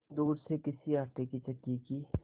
दूर से किसी आटे की चक्की की